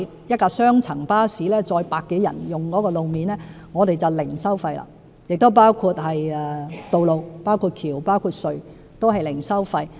一輛雙層巴士可載客百多人，所以使用路面時便獲提供零收費優惠，包括道路、橋和隧道均是零收費。